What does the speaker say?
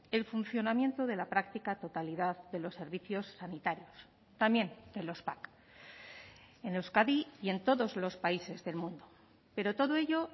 el funcionamiento de la práctica totalidad de los servicios sanitarios también de los pac en euskadi y en todos los países del mundo pero todo ello